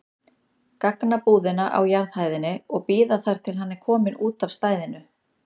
gagnabúðina á jarðhæðinni og bíða þar til hann er kominn út af stæðinu.